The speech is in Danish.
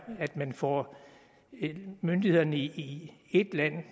at man får myndighederne i et land